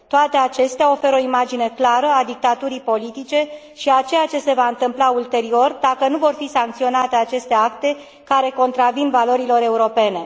Toate acestea oferă o imagine clară a dictaturii politice și a ceea ce se va întâmpla ulterior, dacă nu vor fi sancționate aceste acte care contravin valorilor europene.